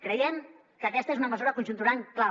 creiem que aquesta és una mesura conjuntural clau